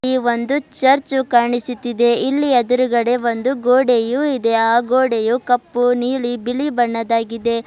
ಈ ಒಂದು ಚರ್ಚು ಕಾಣಿಸುತ್ತಿದೆ ಇಲ್ಲಿ ಎದುರುಗಡೆ ಒಂದು ಗೋಡೆಯು ಇದೆ ಆ ಗೋಡೆಯು ಕಪ್ಪು ನೀಲಿ ಬಿಳಿ ಬಣ್ಣದಾಗಿದೆ.